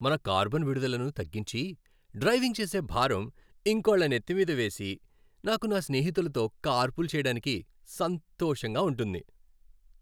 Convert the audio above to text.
మన కార్బన్ విడుదలను తగ్గించి, డ్రైవింగ్ చేసే భారం ఇంకోళ్ళ నెత్తి మీద వేసి, నాకు నా స్నేహితులతో కార్పూల్ చేయడానికి సంతోషంగా ఉంటుంది.